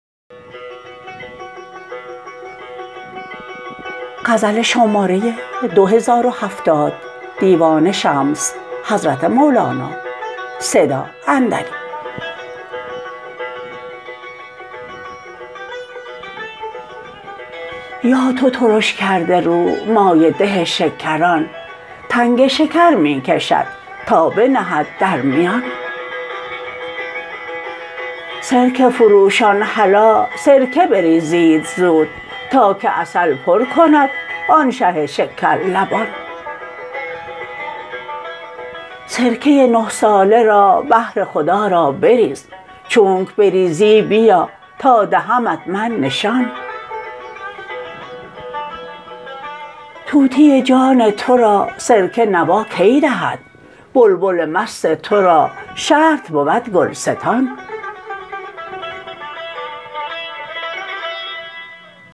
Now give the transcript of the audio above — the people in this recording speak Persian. یا تو ترش کرده رو مایه ده شکران تنگ شکر می کشد تا بنهد در میان سرکه فروشان هلا سرکه بریزید زود تا که عسل پر کند آن شه شکرلبان سرکه نه ساله را بهر خدا را بریز چونک بریزی بیا تا دهمت من نشان طوطی جان تو را سرکه نوا کی دهد بلبل مست تو را شرط بود گلستان